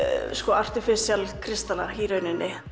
artificial kristalla í rauninni